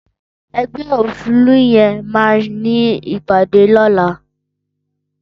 Ẹgbẹ óṣélú yèn mà ni ipàdé lọ̀là